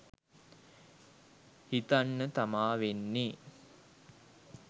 හිතන්නතමා වෙන්නෙ.